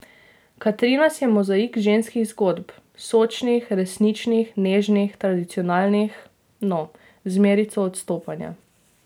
Katrinas je mozaik ženskih zgodb, sočnih, resničnih, nežnih, tradicionalnih, no, z merico odstopanja.